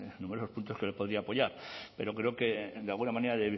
que le podría apoyar pero creo que de alguna manera